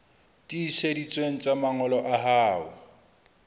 tiiseditsweng tsa mangolo a hao